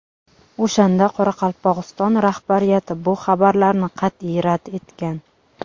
O‘shanda Qoraqalpog‘iston rahbariyati bu xabarlarni qat’iy rad etgan.